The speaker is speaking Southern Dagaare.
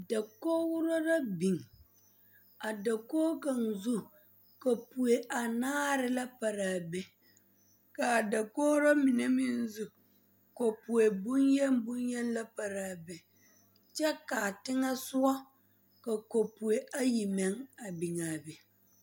Dakogro la biŋ a dakogi kaŋzu kapoe anaare la pare a be ka a dakogro mine meŋ zu kapoe bonyeni bonyeni pare a be kyɛ ka a teŋɛsɔgɔ ka kapoe ayi meŋ a biŋ a be.